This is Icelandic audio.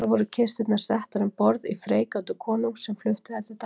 Þar voru kisturnar settar um borð í freigátu konungs sem flutti þær til Danmerkur.